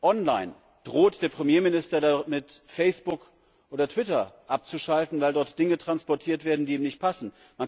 Online droht der Premierminister damit, Facebook oder Twitter abzuschalten, weil dort Dinge transportiert werden, die ihm nicht passen.